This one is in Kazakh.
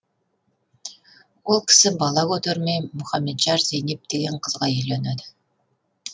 ол кісі бала көтермей мұхамеджар зейнеп деген қызға үйленеді